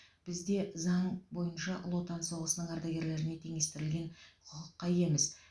бізде заң бойынша ұлы отан соғысының ардагерлеріне теңестірілген құқыққа иеміз